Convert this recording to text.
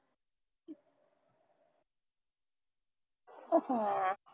ਓਹ ਹਾਂ